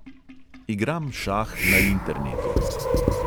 Igram šah na internetu.